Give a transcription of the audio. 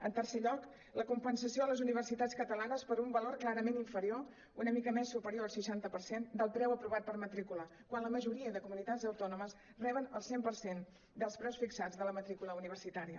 en tercer lloc la compensació a les universitats catalanes per un valor clarament inferior una mica més superior al seixanta per cent del preu aprovat per matrícula quan la majoria de comunitats autònomes reben el cent per cent dels preus fixats de la matrícula universitària